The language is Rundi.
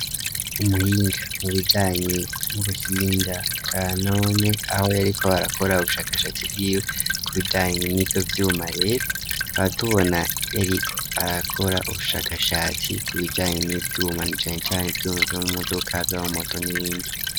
Umuhinga mu bijanyi m'ubuhinga bwa none ,aho yariko barakora ubushakashatsi bwiwe ku bijanyi n'ivyo vy'uma hatubona yariko arakora ubushakashatsi ku bijanyi n'ivyuma nacane cane vyuma vyom'umodoka vyama, mumoto nibindi.